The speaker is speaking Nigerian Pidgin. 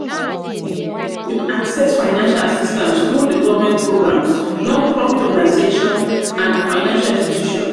you fit access fiancial assistance through di government programs non-profit organization and financial institutions.